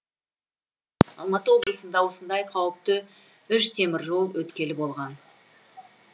алматы облысында осындай қауіпті үш теміржол өткелі болған